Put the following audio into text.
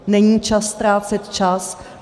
Není čas ztrácet čas.